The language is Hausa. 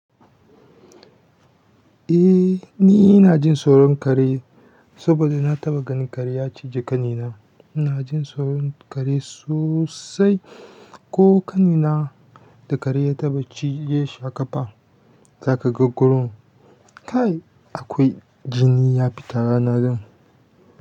Eh ni ina jin tsoron kare saboda na taɓa ganin kare ya ciji ƙanina. Ina jin tsoron kare sosai ko ƙanina da kare ya taɓa cije shi a ƙafa. Zaka ga gurun kai akwai jini ya fita rana zan.